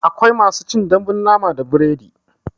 Akwai masu cin dambun nama da biredi